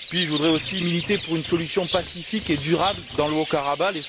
Puis, je voudrais aussi militer pour une solution pacifique et durable dans le Haut Karabagh.